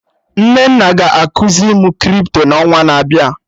Nnenna ga ekuzi mụ Crypto n'ọnwa na-abịa